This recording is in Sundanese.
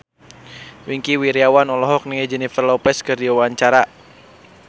Wingky Wiryawan olohok ningali Jennifer Lopez keur diwawancara